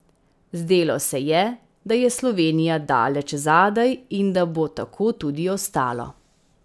Zdelo se je, da je Slovenija daleč zadaj in da bo tako tudi ostalo.